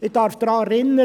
Ich darf daran erinnern: